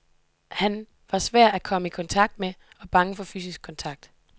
Han var svær at komme i kontakt med og bange for fysisk kontakt.